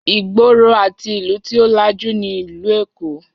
Ìgboro àti ìlú tí ó lajú nílùú Èkó